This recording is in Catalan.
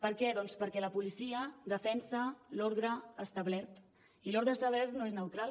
per què doncs perquè la policia defensa l’ordre establert i l’ordre establert no és neutral